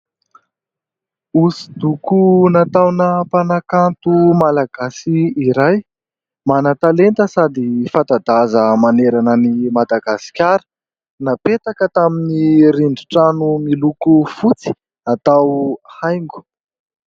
Hosodoko nataona mpanakanto malagasy iray manatalenta sady fanta-daza manerana ny Madagasikara. Napetaka tamin'ny rindri-trano miloko fotsy atao haingo.